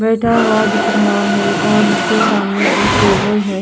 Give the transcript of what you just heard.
बैठा हुआ दिख रहा है और उसके सामने एक टेबल है।